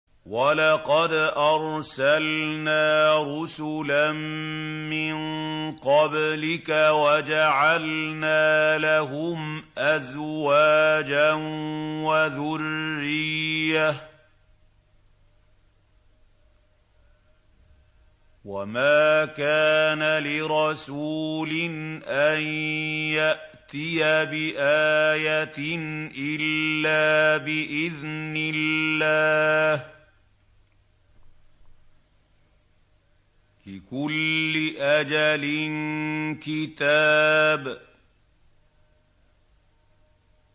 وَلَقَدْ أَرْسَلْنَا رُسُلًا مِّن قَبْلِكَ وَجَعَلْنَا لَهُمْ أَزْوَاجًا وَذُرِّيَّةً ۚ وَمَا كَانَ لِرَسُولٍ أَن يَأْتِيَ بِآيَةٍ إِلَّا بِإِذْنِ اللَّهِ ۗ لِكُلِّ أَجَلٍ كِتَابٌ